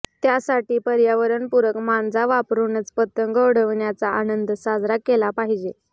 त्यासाठी पर्यावरणपूरक मांजा वापरूनच पतंग उडविण्याचा आनंद साजरा केला पाहिजे